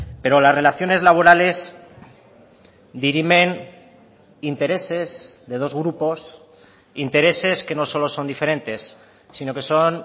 pero las relaciones laborales dirimen intereses de dos grupos intereses que no solo son diferentes sino que son